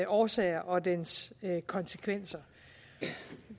årsager og dens konsekvenser